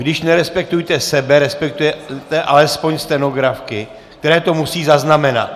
Když nerespektujete sebe, respektujte alespoň stenografky, které to musí zaznamenat.